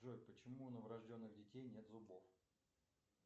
джой почему у новорожденных детей нет зубов